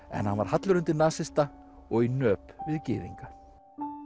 en hann var hallur undir nasista og í nöp við gyðinga